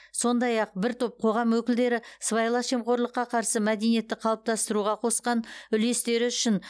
сондай ақ бір топ қоғам өкілдері сыбайлас жемқорлыққа қарсы мәдениетті қалыптастыруға қосқан үлестері үшін